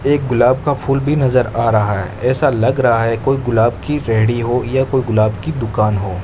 एक गुलाब का फूल भी नजर आ रहा है ऐसा लग रहा है कोई गुलाब की रेड़ी हो या कोई गुलाब की दुकान हो--